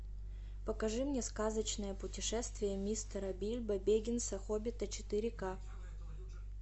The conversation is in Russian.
покажи мне сказочное путешествие мистера бильбо беггинса хоббита четыре к